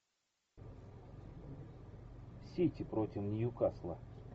сити против ньюкасла